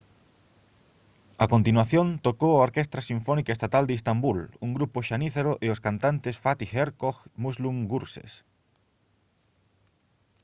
a continuación tocou a orquestra sinfónica estatal de istambul un grupo xanízaro e os cantantes fatih erkoç e müslüm gürses